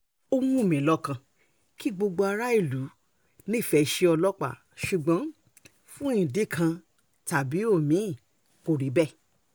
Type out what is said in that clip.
ó wù mí lọ́kàn kí gbogbo aráàlú nífẹ̀ẹ́ iṣẹ́ ọlọ́pàá ṣùgbọ́n fún ìdí kan tàbí omi-ín kò rí bẹ́ẹ̀